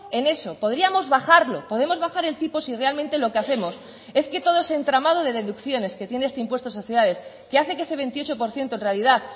en eso podríamos bajarlo podemos bajar el tipo si realmente lo que hacemos es que todo ese entramado de deducciones que tiene este impuesto de sociedades que hace que ese veintiocho por ciento en realidad